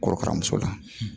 Korokaramuso la